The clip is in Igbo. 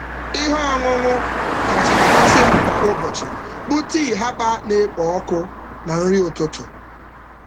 Ihe ọṅụṅụ kacha amasị um m kwa ụbọchị bụ um tii herbal na-ekpo ọkụ na nri ụtụtụ.